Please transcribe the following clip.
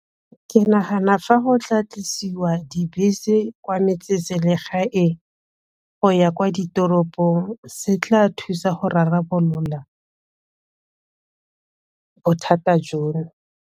Ke nagana fa go tla tlisiwa dibese kwa metse-selegaeng go ya kwa ditoropong se tla thusa go rarabolola bothata jono.